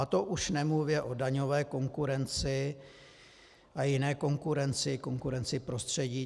A to už nemluvě o daňové konkurenci a jiné konkurenci, konkurenci prostředí.